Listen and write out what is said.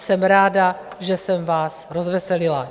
Jsem ráda, že jsem vás rozveselila.